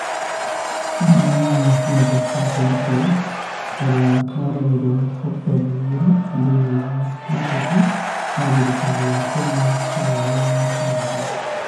Ũmwe wao nĩ Justus Mutie, ũrĩa woragirũo Okitomba ĩgĩrĩ thĩinĩ wa wabici ya thirikari ya Kenya taũninĩ ya Thĩka.